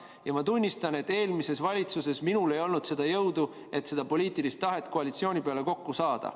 Ja ma tunnistan, et eelmises valitsuses minul ei olnud jõudu, et seda poliitilist tahet koalitsiooni peale kokku saada.